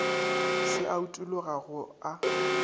se a utologa go a